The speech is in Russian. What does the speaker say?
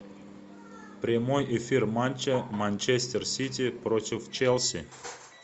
прямой эфир матча манчестер сити против челси